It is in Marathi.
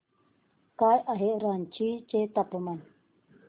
काय आहे रांची चे तापमान